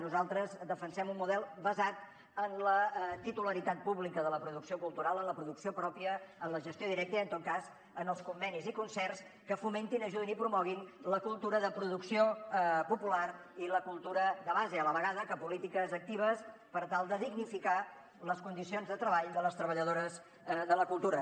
nosaltres defensem un model basat en la titularitat pública de la producció cultural en la producció pròpia en la gestió directa i en tot cas en els convenis i concerts que fomentin ajudin i promoguin la cultura de producció popular i la cultura de base a la vegada que polítiques actives per tal de dignificar les condicions de treball de les treballadores de la cultura